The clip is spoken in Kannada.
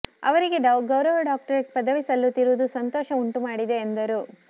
ಅವರಿಗೆ ಗೌರವ ಡಾಕ್ಟರೇಟ್ ಪದವಿ ಸಲ್ಲುತ್ತಿರುವುದು ಸಂತೋಷ ಉಂಟು ಮಾಡಿದೆ ಎಂದರು